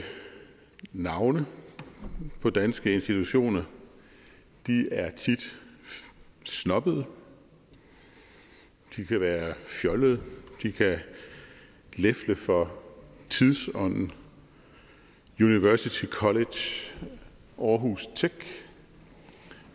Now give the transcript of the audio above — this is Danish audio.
navne på danske institutioner er tit snobbede de kan være fjollede de kan lefle for tidsånden university college aarhus tech